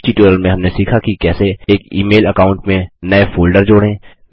इस ट्यूटोरियल में हमने सीखा कि कैसे एक ई मेल अकाउंट में नये फोल्डर जोड़ें